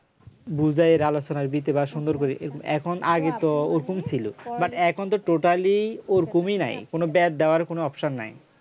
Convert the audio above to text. বুঝাইর আলোচনার দিতে বা সুন্দর করে এরকম এখন আগে তো ওরকমই ছিল but এখনতো totally ওরকমই নাই কোন বাদ দেওয়ার কোন option নাই